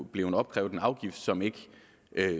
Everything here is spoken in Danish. blevet opkrævet en afgift som ikke